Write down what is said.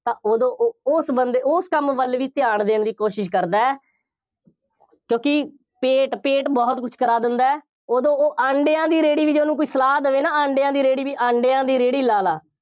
ਤਾਂ ਉਦੋਂ ਉਹ ਉਸ ਬੰਦੇ, ਉਸ ਕੰਮ ਵੱਲ ਵੀ ਧਿਆਨ ਦੇਣ ਦੀ ਕੋਸ਼ਿਸ਼ ਕਰਦਾ ਹੈ, ਕਿਉਂਕਿ ਪੇਟ, ਪੇਟ ਬਹੁਤ ਕੁੱਝ ਕਰਾ ਦਿੰਦਾ ਹੈ, ਉਦੋਂ ਉਹ ਅੰਡਿਆ ਦੀ ਰੇਹੜੀ ਵੀ ਜੇ ਉਹਨੂੰ ਕੋਈ ਸਲਾਹ ਦੇਵੇ ਨਾ, ਅੰਡਿਆਂ ਦੀ ਰੇਹੜੀ, ਅੰਡਿਆਂ ਦੀ ਰੇਹੜੀ ਲਾ ਲਾ,